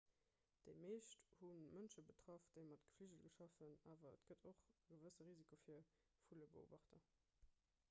déi meescht hu mënsche betraff déi mat gefligel schaffen awer et gëtt och e gewësse risiko fir vullebeobachter